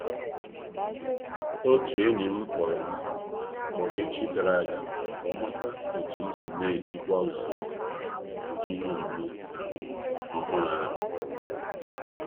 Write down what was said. Otu enyi m kpọrọ m kpọrọ echi gara a ga ka ọ mara otu m si n'ejikwa usoro um ihe omume um ọhụrụ ahụ.